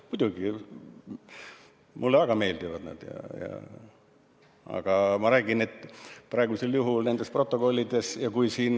Muidugi, mulle nad väga meeldivad.